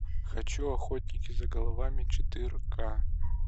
хочу охотники за головами четыре ка